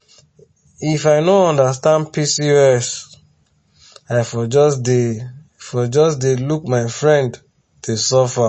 if i no understand pcos i for just dey for just dey look my friend dey suffer.